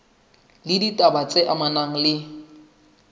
le ditaba tse amanang le